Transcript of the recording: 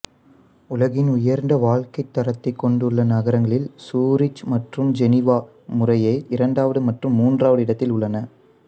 உலகின் உயர்ந்த வாழ்க்கைத் தரத்தைக் கொண்டுள்ள நகரங்களில் சூரிச் மற்றும் ஜெனீவா முறையே இரண்டாவது மற்றும் மூன்றாவது இடத்தில் உள்ளன